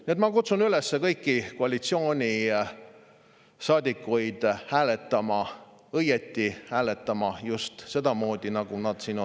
Nii et ma kutsun kõiki koalitsioonisaadikuid üles hääletama, õigesti hääletama, just sedamoodi, nagu nad siin on …